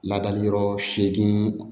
Ladali yɔrɔ seegin